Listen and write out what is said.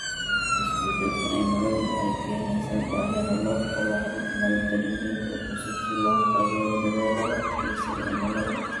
Isbeddelka cimiladu waxay keenaysaa baahida loo qabo habab maalgelineed oo cusub si loo taageero dadaallada adkeysiga cimilada.